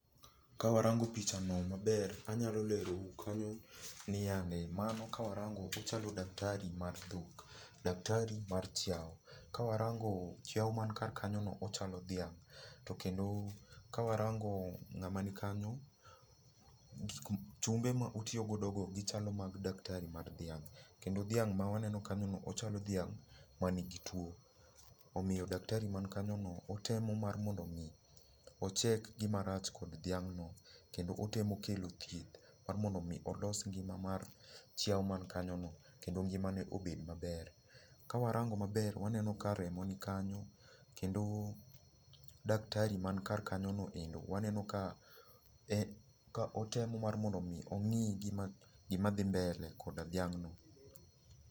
Ka warango picha no maber, anyalo lero nu kanyo niande, mano ka warango ochalo daktari mar dhok, daktari mar chiawo. Ka warango chiawo man kar kanyo no, ochalo dhiang'. To kendo ka warango ng'ama ni kanyo, gik ma, chumbe ma otiyogodo go gichalo mag daktari mar dhiang'. Kendo dhiang' ma waneno kanyo no ochalo dhiang' manigi tuwo. Omiyo daktari man kanyo no, otemo mar mondo mi o check gima rach kod dhiang' no, kendo otemo kelo thieth mar mondo mi olos ngima mar chiawo man kanyo no kendo ngima ne obed maber. Ka warango maber waneno ka remo nikanyo kendo daktari man kar kanyo noendo, waneno ka otemo mar mondo mii ong'i gima dhi mbele koda dhiang' no.